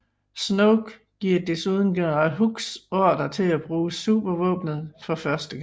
Snoke giver desuden general Hux ordre til at bruge supervåbenet for første gang